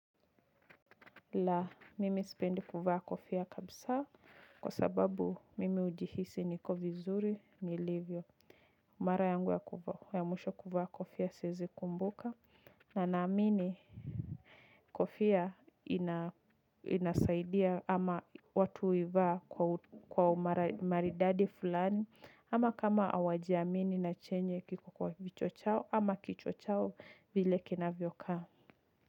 Laa mimi sipendi kuvaa kofia kabisa kwa sababu mimi hujihisi niko vizuri ni livyo. Mara yangu ya mwisho kuvaa kofia siwezi kumbuka na naamini kofia ina inasaidia ama watu huivaa kwa umaridadi fulani ama kama hawajiamini na chenye kiko kwa kichwa chao ama kichwa chao vile kina vyokaa.